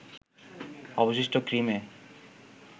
অবশিষ্ট ক্রিমে